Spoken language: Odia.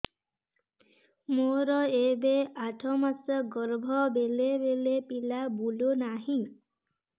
ମୋର ଏବେ ଆଠ ମାସ ଗର୍ଭ ବେଳେ ବେଳେ ପିଲା ବୁଲୁ ନାହିଁ